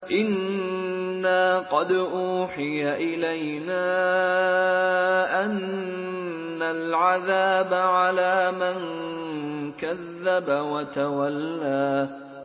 إِنَّا قَدْ أُوحِيَ إِلَيْنَا أَنَّ الْعَذَابَ عَلَىٰ مَن كَذَّبَ وَتَوَلَّىٰ